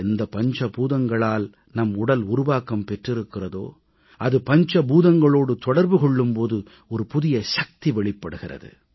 எந்த பஞ்ச பூதங்களால் நம் உடல் உருவாக்கம் பெற்றிருக்கிறதோ அது பஞ்ச பூதங்களோடு தொடர்பு கொள்ளும் போது புதிய சக்தி வெளிப்படுகிறது